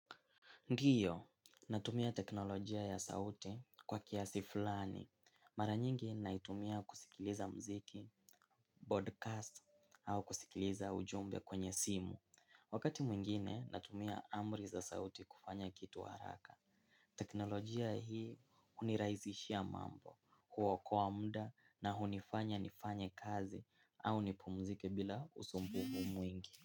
Ndiyo, natumia teknolojia ya sauti kwa kiasi fulani. Mara nyingi naitumia kusikiliza mziki, podcast, au kusikiliza ujumbe kwenye simu. Wakati mwingine, natumia amri za sauti kufanya kitu haraka. Teknolojia hii hunirahisishia mambo, huokoa muda na hunifanya nifanya kazi au nipumzike bila usumbufu mwingi.